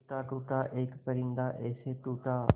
टूटा टूटा एक परिंदा ऐसे टूटा